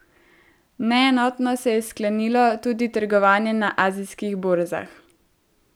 Neenotno se je sklenilo tudi trgovanje na azijskih borzah.